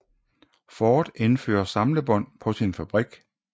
Ford indfører samlebånd på sin fabrik